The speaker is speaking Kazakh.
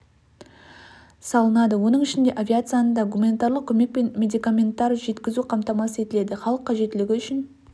салынады оның ішінде авиацияны да гуманитарлық көмек пен медикаменттер жеткізу қамтамасыз етіледі халық қажеттілігі үшін